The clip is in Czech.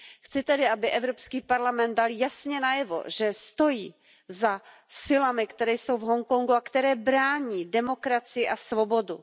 Chci tedy, aby Evropský parlament dal jasně najevo, že stojí za silami, které jsou v Hongkongu a které brání demokracii a svobodu.